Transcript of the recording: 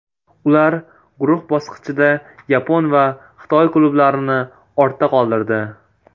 Ular guruh bosqichida yapon va xitoy klublarini ortda qoldirdi.